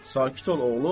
Sakit ol oğlum.